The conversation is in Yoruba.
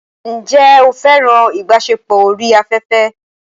Ǹjẹ́ o fẹ́ràn ìbáṣepọ̀ orí afẹ́fẹ́?